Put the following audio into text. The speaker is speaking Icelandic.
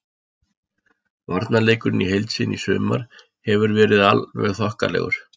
Varnarleikurinn í heild sinni í sumar hefur verið alveg þokkalegur.